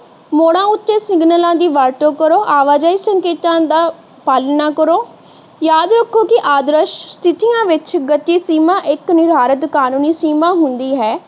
ਮੋੜਾ ਉਤੇ ਸਿਗਨਲਾਂ ਦੀ ਵਰਤੋਂ ਕਰੋ ਆਵਾਜਾਈ ਸੰਕੇਤਾਂ ਦਾ ਪਾਲਣਾ ਕਰੋ ਯਾਦ ਰੱਖੋ ਕਿ ਆਦਰਸ਼ ਸਥਿਤੀਆਂ ਵਿੱਚ ਗਤਿ ਸੀਮਾ ਇੱਕ ਨਿਰਧਾਰਿਤ ਕਾਨੂੰਨੀ ਸੀਮਾ ਹੁੰਦੀ ਹੈ।